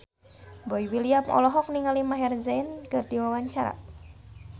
Boy William olohok ningali Maher Zein keur diwawancara